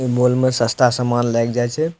इ मॉल मे सस्ता सामान लाएग जाय छै।